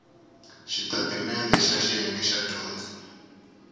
xitatimendhe xa xiyenge xa dyondzo